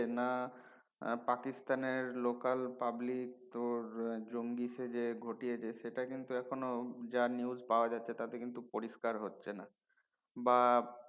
না পাকিস্তানের local public তোর জঙ্গি সেজে গঠিয়েছে সেট কিন্তু এখনো যা news পাওয়া যাচ্ছে তাতে কিন্তু পরিস্কার হচ্ছে না বা